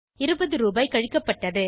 20 ரூபாய் கழிக்கப்பட்டது